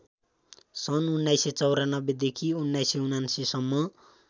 सन् १९९४ देखि १९९९ सम्म